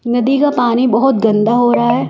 नदी का पानी बहुत गंदा हो रहा है।